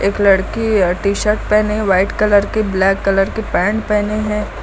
एक लड़की य टी-शर्ट पहनी व्हाइट कलर की ब्लैक कलर के पैंट पहनी है।